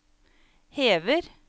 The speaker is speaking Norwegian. hever